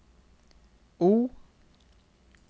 O